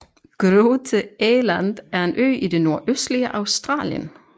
Groote Eylandt er en ø i det nordøstlige Australien